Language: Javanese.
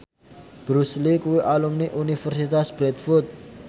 Bruce Lee kuwi alumni Universitas Bradford